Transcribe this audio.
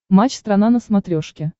матч страна на смотрешке